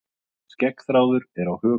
skeggþráður er á höku